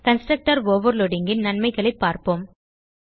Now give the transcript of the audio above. constructor overloadingன் நன்மைகளைப் பார்ப்போம்